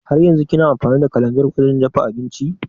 Haryanzun kina amfani da kalanzir wajen dafa abinci?